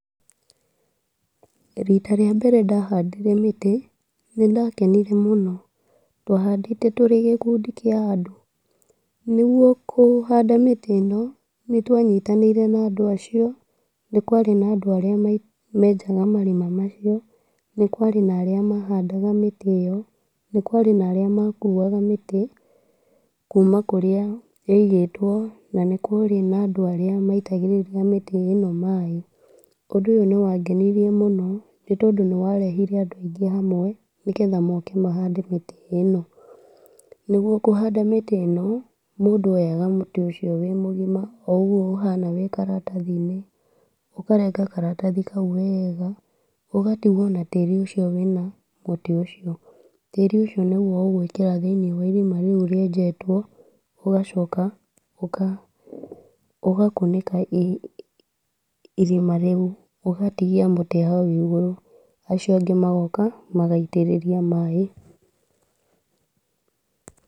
Rita rĩa mbere ndahandire mĩtĩ, nĩndakenire mũno , twahandĩte tũrĩ gĩkundi kĩa andũ , nĩgwo kũhanda mĩtĩ ĩno nĩtwanyitanire na andũ acio, nĩ kwarĩ na andũ arĩa menjaga marima macio, nĩ kwarĩ na arĩa mahandaga mĩtĩ ĩyo, nĩ kwarĩ na arĩa makuwaga mĩtĩ kuma kũrĩa yaigĩtwo, nĩ kwarĩ na andũ arĩa maitagĩrĩria mĩtĩ ĩno maaĩ, ũndũ ũyũ nĩwangenirie mũno nĩ tondũ nĩwarehire andũ aingĩ hamwe, nĩgetha moke tũhande mĩtĩ ĩno ,nĩgwo kũhanda mĩtĩ ĩno, mũndũ oyaga mũtĩ ũcio wĩ mũgima o ũguo ũhana wĩ karatathi-inĩ, ũkarega karatathi kau wega ũgatigwo wĩna ũcio tĩri wĩna mũtĩ ũcio, tĩri ũcio nĩgwo ũgwĩkĩra thĩiniĩ wa irima rĩu rienjetwo, ũgacoka ũka ũgakunĩka irima rĩu, ũgatigia mũtĩ hau igũrũ, acio angĩ magoka magaitĩrĩria maaĩ.